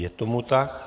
Je tomu tak.